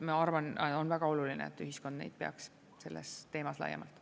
Ma arvan, et on väga oluline, et ühiskond neid peaks, sellel teemal laiemalt.